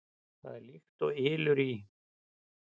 Það er líkt og ylur í